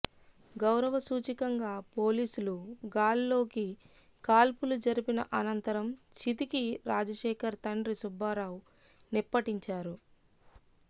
గౌరవ సూచికంగా పోలీసులు గాల్లోకి కాల్పులు జరిపిన అనంత రం చితికి రాజశేఖర్ తండ్రి సుబ్బారావు నిప్పటించారు